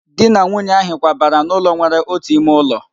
Di na nwunye ahị kwabara n'ụlọ nwere otu ime ụlọ